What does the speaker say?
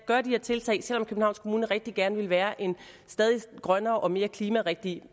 gøre de her tiltag selv om københavns kommune rigtig gerne vil være en stadig grønnere og mere klimarigtig